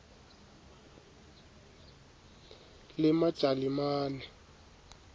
lemajalimane